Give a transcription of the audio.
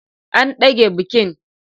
An dage bikin.